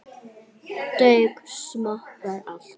Duga smokkar alltaf?